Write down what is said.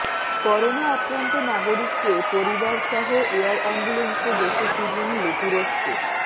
corona আক্রান্ত নাগরিককে পরিবারসহ এয়ার অ্যাম্বুলেন্সে দেশে ফিরিয়ে নিলো তুরস্ক